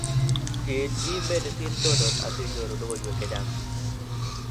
Chill eMedicine Journal asinyoru logoiywek chechang'